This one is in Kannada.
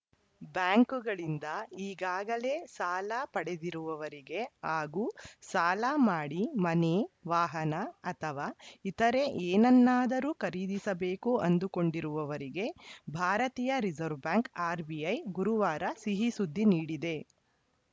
ಬ್ಯಾಂಕುಗಳಿಂದ ಈಗಾಗಲೇ ಸಾಲ ಪಡೆದಿರುವವರಿಗೆ ಹಾಗೂ ಸಾಲ ಮಾಡಿ ಮನೆ ವಾಹನ ಅಥವಾ ಇತರೆ ಏನನ್ನಾದರೂ ಖರೀದಿಸಬೇಕು ಅಂದುಕೊಂಡಿರುವವರಿಗೆ ಭಾರತೀಯ ರಿಸೆರ್ವೆ ಬ್ಯಾಂಕ್‌ ಆರ್‌ಬಿಐ ಗುರುವಾರ ಸಿಹಿ ಸುದ್ದಿ ನೀಡಿದೆ